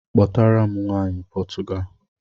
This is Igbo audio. Kpọtara m nwaanyị Potugali